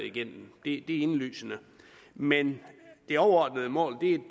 igennem det er indlysende men det overordnede mål